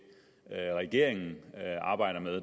regeringen arbejder med